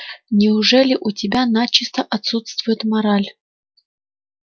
неужели у тебя начисто отсутствует мораль